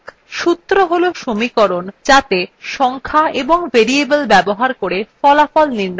সূত্র হল সমীকরণ যাত়ে সংখ্যা এবং ভেরিয়েবল ব্যবহার করে ফলাফল নির্ণয় করা হয়